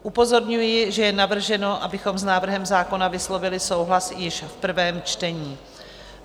Upozorňuji, že je navrženo, abychom s návrhem zákona vyslovili souhlas již v prvém čtení.